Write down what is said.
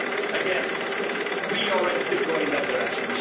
Again, we are ready to go in that direction.